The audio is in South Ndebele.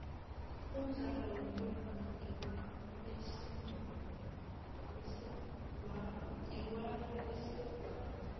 umdlalo wentonga ngewabesegwabo